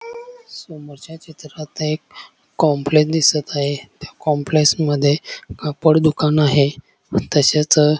समोरच्या चित्रात एक कॉम्प्लेक्स दिसत आहे त्या कॉम्प्लेक्स मध्ये कापड दुकान आहे अन तसेच--